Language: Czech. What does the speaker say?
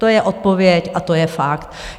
To je odpověď a to je fakt.